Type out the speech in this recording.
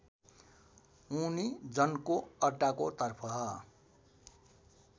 उनी जनको अड्डाको तर्फ